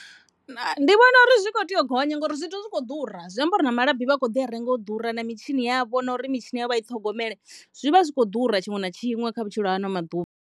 Ndi vhona uri zwithu zwi kho tea u gonya ngauri zwithu zwi khou ḓura zwi amba uri na malabi vha kho ḓi a renga u ḓura na mitshini yavho na uri mitshini yavho vha i ṱhogomele zwi vha zwi kho ḓura tshiṅwe na tshiṅwe kha vhutshilo ha ano maḓuvha.